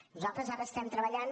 nosaltres ara estem treballant